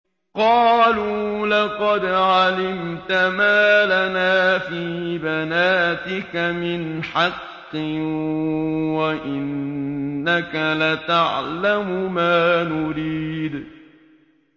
قَالُوا لَقَدْ عَلِمْتَ مَا لَنَا فِي بَنَاتِكَ مِنْ حَقٍّ وَإِنَّكَ لَتَعْلَمُ مَا نُرِيدُ